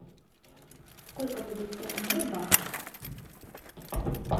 сколько будет сто тенге в баксах